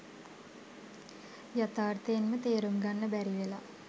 යථාර්ථයෙන්ම තේරුම් ගන්න බැරිවෙලා.